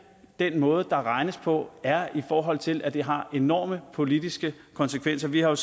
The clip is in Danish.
den måde der regnes på er i forhold til at det har enorme politiske konsekvenser vi har jo